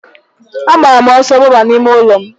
A gbara m ọsọ gbaba n'ime ụlọ m.